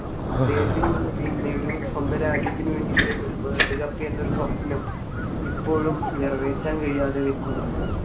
അദ്ദേഹത്തിനും പിന്നെ ഒരു സ്വന്തം രാജ്യത്തിന് വേണ്ടീട്ട് ഒരു വേൾഡ് കപ്പ് എന്നൊരു സ്വപ്‌നം ഇപ്പോഴും നിറവേറ്റാൻ കഴിയാതെ നിൽക്കുന്നുണ്ട്.